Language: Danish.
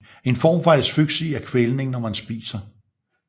En form for asfyksi er kvælning når man spiser